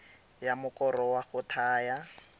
ya mokoro wa go thaya